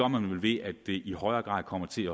man vel ved at det i højere grad kommer til